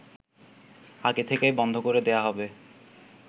আগে থেকেই বন্ধ করে দেয়া হবে